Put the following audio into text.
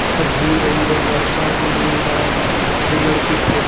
सब भींग रही है लड़का भी भींग रहा है दो लड़की फो--